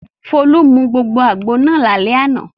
Folú mu gbogbo àgbo náà lálẹ́ àná.